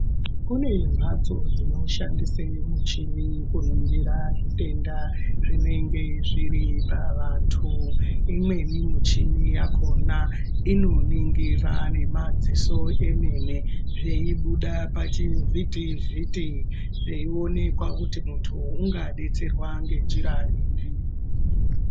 Kune mhatso dzinoshandise michini kuningira zvitenda zvinenge zviri pavantu. Imweni muchini yakhona inoningira nemadziso emene zveibuda pachivhiti-vhiti, zveionekwa kuti muntu ungadetserwa ngenjira ipi.